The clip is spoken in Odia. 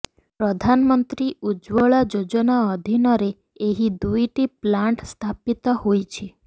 ପ୍ରଧାନମନ୍ତ୍ରୀ ଉଜ୍ୱଳା ଯୋଜନା ଅଧୀନରେ ଏହି ଦୁଇଟି ପ୍ଲାଣ୍ଟ ସ୍ଥାପିତ ହୋଇଛି